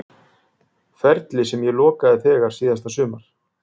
Ferli sem ég lokaði þegar síðasta sumar?